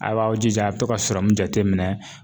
A b'aw jija a bɛ to ka sɔrɔmu jate minɛn.